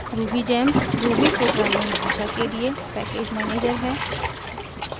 rubygems ruby programming भाषा के लिए पैकेज मैनेजर है